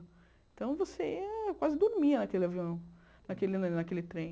Então, você quase dormia naquele avião, naquele naquele trem.